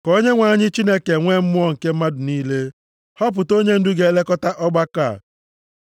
“Ka Onyenwe anyị, Chineke nwe mmụọ nke mmadụ niile, họpụta onyendu ga-elekọta ọgbakọ a.